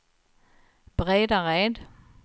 Bredared